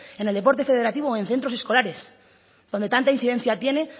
en el deporte federativo o en centro escolares donde tanta incidencia tiene